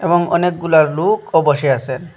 এবং অনেকগুলা লোকও বসে আসেন।